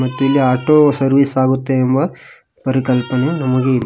ಇಲ್ಲಿ auto service ಆಗುತ್ತೆ ಎಂಬ ಪರಿಕಲ್ಪನೆ ನಮಗೆ--